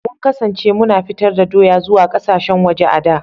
Mun kasance muna fitar da doya zuwa kasashen waje a da.